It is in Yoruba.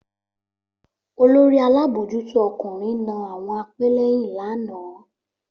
Olórí Alábójútò okùnrin na àwon àwon apéléyìn lánàá